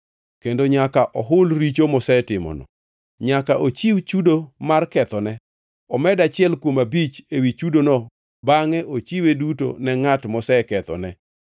kendo nyaka ohul richo mosetimono. Nyaka ochiw chudo duto mar kethone, omed achiel kuom abich ewi chudono bangʼe ochiwe duto ne ngʼat mosekethone.